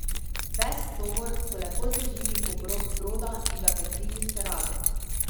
Ves tovor so lepo zložili ob rob broda in ga prekrili s cerado.